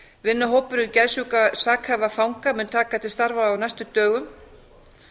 vinnuhópur um geðsjúka sakhæfa fanga mun taka til starfa á næstu dögum